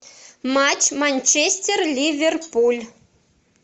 матч манчестер ливерпуль